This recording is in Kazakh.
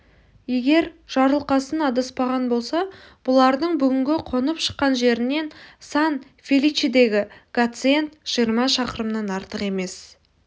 егер жарылқасын адаспаған болса бұлардың бүгінгі қонып шыққан жерінен сан-феличедегі гациенд жиырма шақырымнан артық емес